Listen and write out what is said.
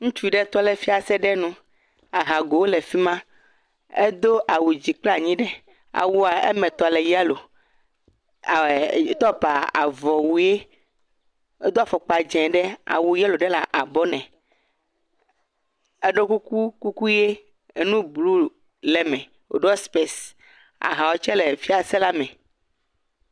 Ŋutsu ɖe tɔ ɖe fiase nu. Ahagowo le afi ma. Edo awu dzi kple anyi ɖe. Awua eme tɔ le yelo. Topa avɔwue, edo afɔkpa dzẽ ɖe awu yelo ɖe le abɔ nɛ. Eɖo kuku ʋie enu blu le eme woɖo sipesi. Ahawo tsɛ le fiase la me.